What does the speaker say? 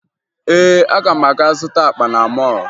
Ee, aga m aga zụta akpa na mọọlụ